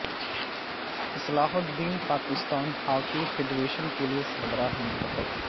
اصلاح الدین Pakistan hockey federation کے نئے سربراہ منتخب